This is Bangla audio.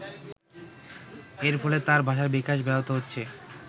এর ফলে তার ভাষার বিকাশ ব্যহত হচ্ছে।